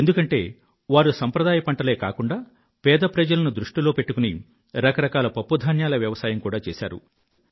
ఎందుకంటే వారు సంప్రదాయ పంటలే కాకుండా పేద ప్రజలను దృష్టిలో పెట్టుకుని రకరకాల పప్పు ధాన్యాలను కూగా సాగుచేశారు